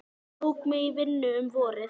Hann tók mig í vinnu um vorið.